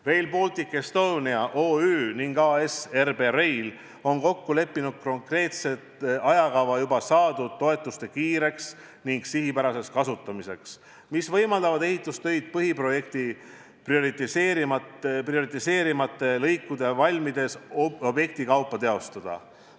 Rail Baltic Estonia OÜ ning AS RB Rail on kokku leppinud konkreetse ajakava seni saadud toetuste kiireks ja sihipäraseks kasutamiseks, mis võimaldavad ehitustöid põhiprojekti prioriteetsemate lõikude valmides objekti kaupa teostada.